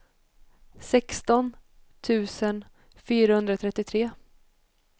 sexton tusen fyrahundratrettiotre